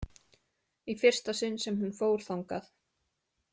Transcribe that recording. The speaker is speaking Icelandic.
Í fyrsta sinn sem hún fór þangað.